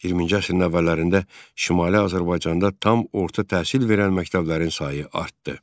20-ci əsrin əvvəllərində Şimali Azərbaycanda tam orta təhsil verən məktəblərin sayı artdı.